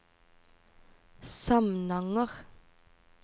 Samnanger